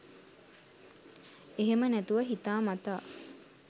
එහෙම නැතුව හිතා මතා